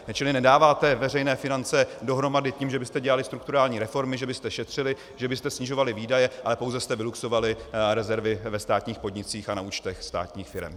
Čili nedáváte veřejné finance dohromady tím, že byste dělali strukturální reformy, že byste šetřili, že byste snižovali výdaje, ale pouze jste vyluxovali rezervy ve státních podnicích a na účtech státních firem.